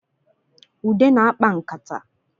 Ude na-akpa nkata